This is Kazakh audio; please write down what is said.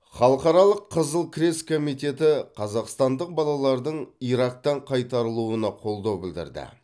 халықаралық қызыл крест комитеті қазақстандық балалардың ирактан қайтарылуына қолдау білдірді